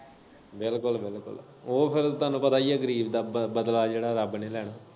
ਬਿਲਕੁੱਲ ਬਿਲਕੁੱਲ ਉਹ ਫੇਰ ਤੁਹਾਨੂੰ ਪਤਾ ਹੀ ਐ ਗਰੀਬ ਦਾ ਬਦਲਾ ਜੇੜਾ ਰੱਬ ਨੇ ਲੈਣਾ।